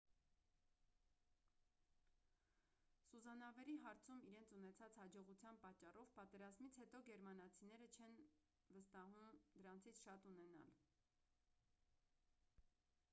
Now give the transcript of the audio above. սուզանավերի հարցում իրենց ունեցած հաջողության պատճառով պատերազմից հետո գերմանացիներին չեն վստահում դրանցից շատ ունենալ